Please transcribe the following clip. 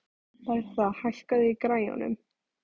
Bertha, hækkaðu í græjunum.